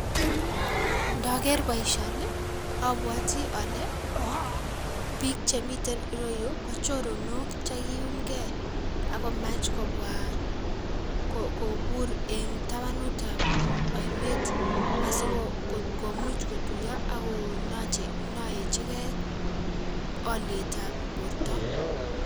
Ndoker boisioni ii, abwoti ale, bik chemiten iroyu ko choronok che kiumke akomach kobwa ko kobur eng tabanutab ainet asikomuch kotuiyo Akonoyechike olietab borto.